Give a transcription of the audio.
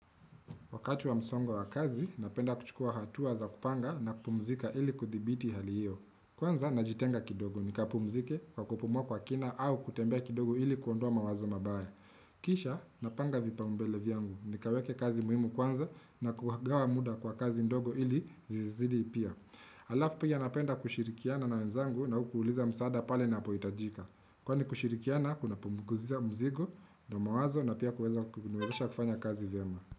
Wakati wa msongo wa kazi, napenda kuchukua hatuwa za kupanga na kupumzika ili kuthibiti hali hiyo. Kwanza, najitenga kidogo, nikapumzike kwa kupumwa kwa kina au kutembea kidogo ili kuondoa mawazo mabaya. Kisha, napanga vipaumbele vyangu, nikaweke kazi muhimu kwanza na kuhagawa muda kwa kazi ndogo ili zizidi ipia. Alafu pia napenda kushirikiana na wenzangu na ukuuliza msaada pale na apoyitajika. Kwa ni kushirikiana, kuna pumukuziza mzigo na mawazo na pia kuweza kufanya kazi vyama.